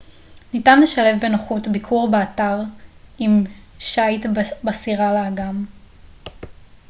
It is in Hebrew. ניתן לשלב בנוחות ביקור באתר עם שיט בסירה לאגם